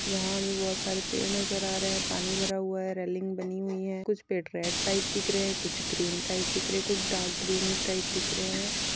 यहाँ भी बहुत सारे पेड़ नजर आ रहे है पानी भरा हुआ हैरेलिंग बनी हुई है कुछ पेड़ रेड टाइप दिख रहे है कुछ ग्रीन टाइप दिख रहे है कुछ डार्क ग्रीन टाइप दिख रहे है।